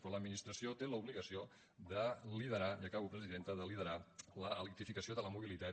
però l’administració té l’obligació de liderar i acabo presidenta l’electrificació de la mobilitat